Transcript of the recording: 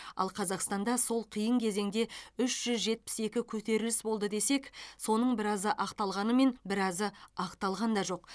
ал қазақстанда сол қиын кезеңде үш жүз жетпіс екі көтеріліс болды десек соның біразы ақталғанымен біразы ақталған да жоқ